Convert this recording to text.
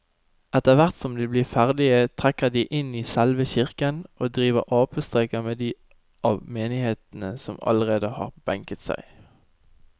Etterthvert som de blir ferdige trekker de inn i selve kirken og driver apestreker med de av menigheten som allerede har benket seg.